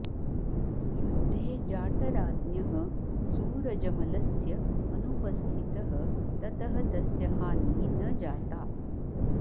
युद्धे जाटराज्ञः सूरजमलस्य अनुपस्थितः ततः तस्य हानिः न जाता